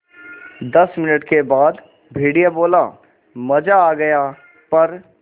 दस मिनट के बाद भेड़िया बोला मज़ा आ गया प्